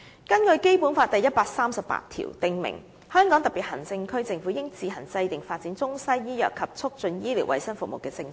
《基本法》第一百三十八條訂明："香港特別行政區政府自行制定發展中西醫藥和促進醫療衛生服務的政策。